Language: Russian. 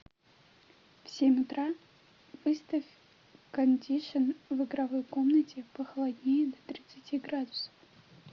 в семь утра выставь кондишн в игровой комнате похолоднее до тридцати градусов